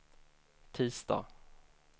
tisdag